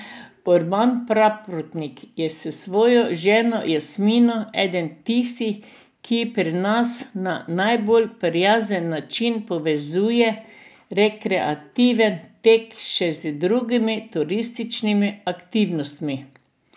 Urban Praprotnik je s svojo ženo Jasmino eden tistih, ki pri nas na najbolj prijazen način povezuje rekreativen tek še z drugimi turističnimi aktivnostmi.